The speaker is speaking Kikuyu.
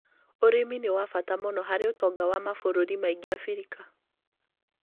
ũrĩmi nĩ wa bata mũno harĩ ũtonga wa mabũrũri maingĩ Abirika.